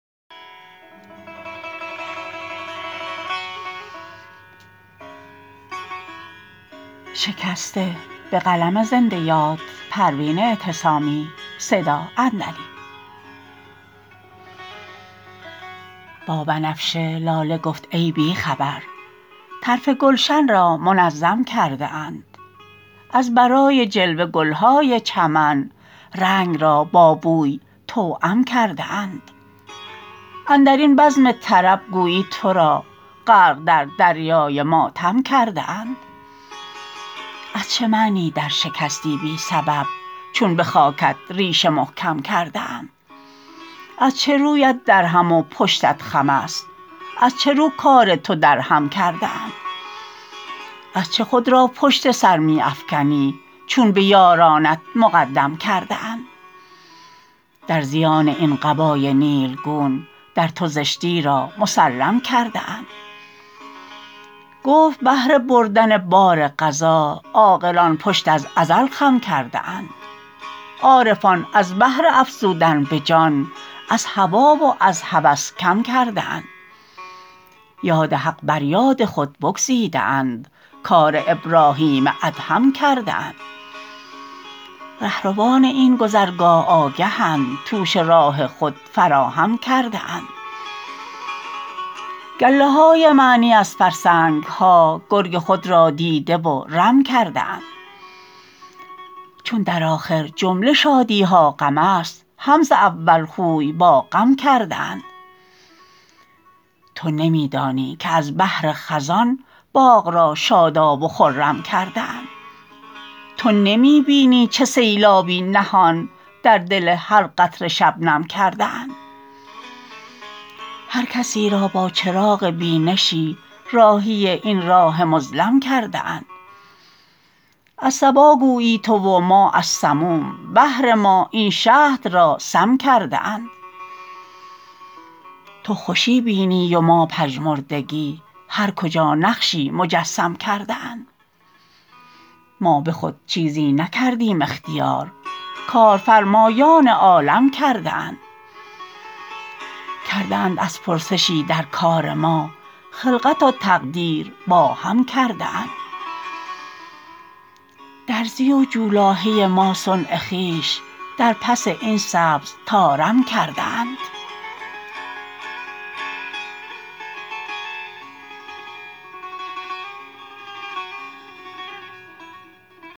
با بنفشه لاله گفت ای بیخبر طرف گلشن را منظم کرده اند از برای جلوه گلهای چمن رنگ را با بوی توام کرده اند اندرین بزم طرب گویی ترا غرق در دریای ماتم کرده اند از چه معنی در شکستی بی سبب چون بخاکت ریشه محکم کرده اند از چه رویت در هم و پشتت خم است از چه رو کار تو درهم کرده اند از چه خود را پشت سر می افکنی چون به یارانت مقدم کرده اند در زیان این قبای نیلگون در تو زشتی را مسلم کرده اند گفت بهر بردن بار قضا عاقلان پشت از ازل خم کرده اند عارفان از بهر افزودن بجان از هوی و از هوس کم کرده اند یاد حق بر یاد خود بگزیده اند کار ابراهیم ادهم کرده اند رهروان این گذرگاه آگهند توش راه خود فراهم کرده اند گله های معنی از فرسنگها گرگ خود را دیده و رم کرده اند چون در آخر جمله شادیها غم است هم ز اول خوی با غم کرده اند تو نمیدانی که از بهر خزان باغ را شاداب و خرم کرده اند تو نمی بینی چه سیلابی نهان در دل هر قطره شبنم کرده اند هر کسی را با چراغ بینشی راهی این راه مظلم کرده اند از صبا گویی تو و ما از سموم بهر ما این شهد را سم کرده اند تو خوشی بینی و ما پژمردگی هر کجا نقشی مجسم کرده اند ما بخود چیزی نکردیم اختیار کارفرمایان عالم کرده اند کرده اند ار پرسشی در کار ما خلقت و تقدیر با هم کرده اند درزی و جولاهه ما صنع خویش در پس این سبز طارم کرده اند